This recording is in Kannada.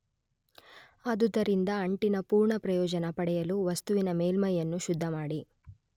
ಆದುದರಿಂದ ಅಂಟಿನ ಪುರ್ಣ ಪ್ರಯೋಜನ ಪಡೆಯಲು ವಸ್ತುವಿನ ಮೇಲ್ಮೈಯನ್ನು ಶುದ್ಧಮಾಡಿ